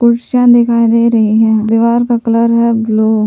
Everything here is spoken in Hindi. दिखाई दे रही है दीवार का कलर है ब्लू।